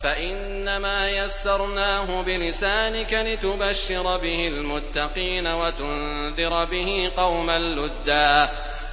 فَإِنَّمَا يَسَّرْنَاهُ بِلِسَانِكَ لِتُبَشِّرَ بِهِ الْمُتَّقِينَ وَتُنذِرَ بِهِ قَوْمًا لُّدًّا